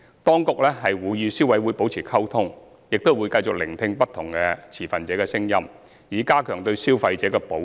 當局會與消委會保持溝通，亦會繼續聆聽不同持份者的聲音，以加強對消費者的保障。